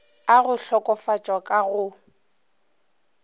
a go hlokofatšwa ka go